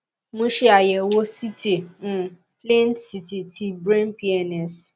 mo ṣe àyẹwò ct um plain ct ti brain pns